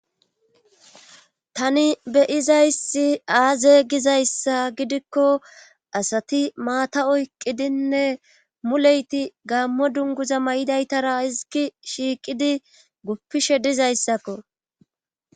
Tani beyizayssi aaze gizayssa gidikko asati maata oyqqidinne muleyti gaammo dunguza may,idaytara izigi shiiqidi guppishe dizayssakko.